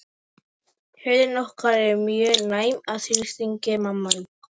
Yfirleitt eru þetta frekar hægfara breytingar sem gerast á löngum tíma.